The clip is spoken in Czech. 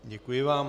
Děkuji vám.